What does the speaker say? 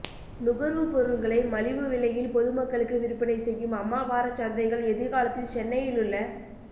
நுகர்வுப் பொருள்களை மலிவு விலையில் பொதுமக்களுக்கு விற்பனை செய்யும் அம்மா வாரச் சந்தைகள் எதிர்காலத்தில் சென்னையில் உள்ள